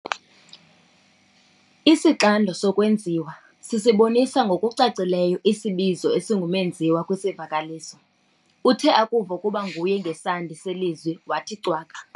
Isixando sokwenziwa sisibonisa ngokucacileyo isibizo esingumenziwa kwisivakalisi. uthe akuva ukuba nguye ngesandi selizwi wathi cwaka